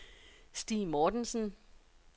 Stig Mortensen